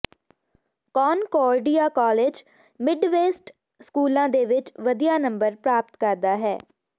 Concordia college Midwest ਸਕੂਲਾਂ ਦੇ ਵਿਚ ਵਧੀਆ ਨੰਬਰ ਪ੍ਰਾਪਤ ਕਰਦਾ ਹੈ